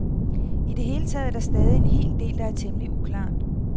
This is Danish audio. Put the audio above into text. I det hele taget er der stadig en hel del, der er temmelig uklart.